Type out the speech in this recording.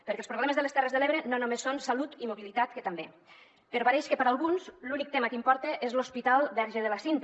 perquè els problemes de les terres de l’ebre no només són salut i mobilitat que també però pareix que per a alguns l’únic tema que importa és l’hospital verge de la cinta